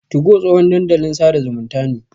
2go tsohon dandalin sada zumunta ne.